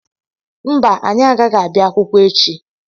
Mba anyị agaghị abịa akwụkwọ echi